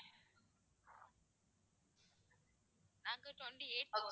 நாங்க twenty-eight போறோம்.